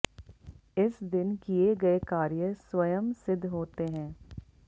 इस दिन किए गए कार्य स्वयं सिद्घ होते हैं